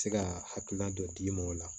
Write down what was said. Se ka hakilina dɔ d'i ma o la